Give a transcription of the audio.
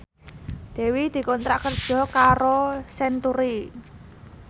Dewi dikontrak kerja karo Century